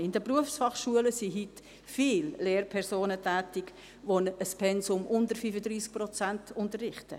In den Berufsfachschulen sind heute viele Lehrpersonen tätig, die ein Pensum unter 35 Prozent unterrichten.